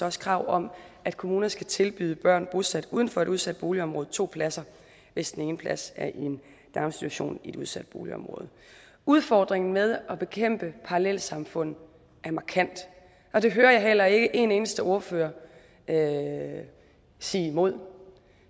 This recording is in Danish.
også krav om at kommuner skal tilbyde børn bosat uden for et udsat boligområde to pladser hvis den ene plads er i en daginstitution i et udsat boligområde udfordringen med at bekæmpe parallelsamfund er markant og det hører jeg heller ikke en eneste ordfører sige imod